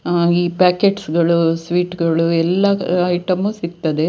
ಆ- ಈ ಪ್ಯಾಕೆಟ್ಸ್ ಗಳು ಸ್ವೀಟ್ ಗಳು ಎಲ್ಲಾ ಐಟಂ ಸಿಗುತ್ತದೆ.